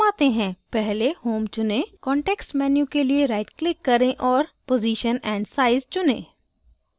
पहले home चुनें context menu के लिए right click करें और position and size चुनें